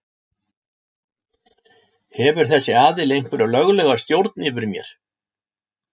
Hefur þessi aðili einhverja löglega stjórn yfir mér?